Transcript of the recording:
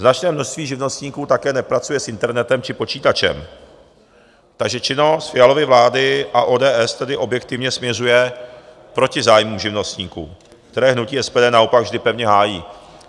Značné množství živnostníků také nepracuje s internetem či počítačem, takže činnost Fialovy vlády a ODS tedy objektivně směřuje proti zájmům živnostníků, které hnutí SPD naopak vždy pevně hájí.